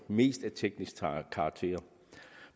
mest af teknisk karakter